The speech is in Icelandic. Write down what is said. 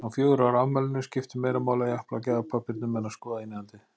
Á fjögurra ára afmælinu skipti meira máli að japla á gjafapappírnum en að skoða innihaldið.